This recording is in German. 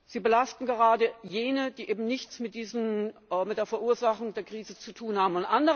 Sie belasten gerade jene, die eben nichts mit der Verursachung der Krise zu tun haben.